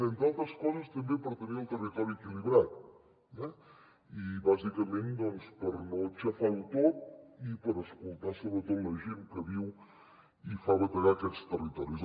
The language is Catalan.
entre altres coses també per tenir el territori equilibrat eh i bàsicament doncs per no xafar ho tot i per escoltar sobretot la gent que hi viu i fa bategar aquests territoris